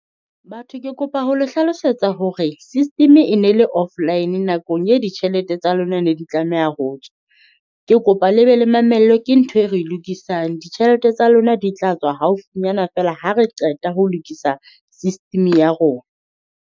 Batho Ke kopa ho le hlalosetsa hore system e ne le offline nakong e ditjhelete tsa lona ne di tlameha ho tswa. Ke kopa le be le mamello ke ntho e re lokisang, ditjhelete tsa lona di tla tswa haufinyana feela ha re qeta ho lokisa system ya rona.